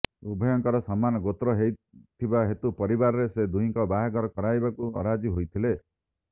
ଉଭୟଙ୍କର ସମାନ ଗୋତ୍ର ହୋଇଥିବା ହେତୁ ପରିବାରରେ ସେ ଦୁହିଁଙ୍କର ବାହାଘର କରାଇବାକୁ ଅରାଜି ହୋଇଥିଲେ